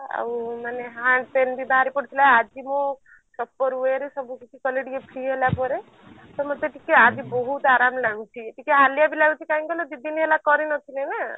ଆଉ ମାନେ hand pain ବି ବାହାରି ପଡିଥିଲା ଆଜି ମୁଁ ସକାଳୁ ପହରୁ ସବୁ କିଛି କଲି ଟିକେ free ହେଲା ଗୋଡ ତ ମତେ ଟିକେ ଆଜି ବହୁତ ଆରାମ ଲାଗୁଛି ଟିକେ ହାଲିଆ ବି ଲାଗୁଛି କାହିଁକି କହିଲ ଦିଦିନ ହେଲା କରି ନଥିଲି ନା